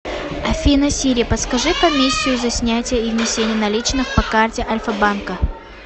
афина сири подскажи комиссию за снятие и внесение наличных по карте альфа банка